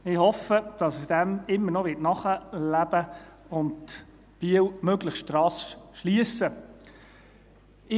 Ich hoffe, dass er dem immer noch nachleben und Biel möglichst rasch schliessen wird.